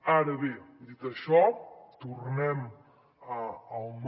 ara bé dit això tornem al no